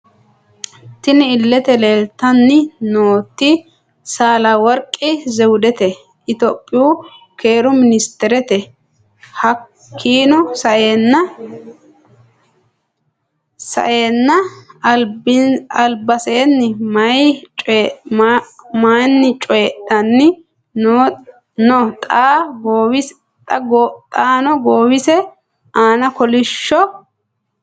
Tinni illete leelitanni nooti saala woriqi zewudete ittoyoopiyu keeru minisiteriti hakiino sa'eena alibaseeni mayiini coyiidhani no xaano goowise aana kolishsho..